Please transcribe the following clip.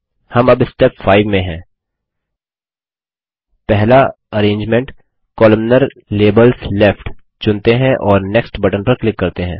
हम अब स्टेप 5 में हैं पहला अरेंजमेंट कोलमनार - लेबल्स लेफ्ट चुनते हैं और नेक्स्ट बटन पर क्लिक करते हैं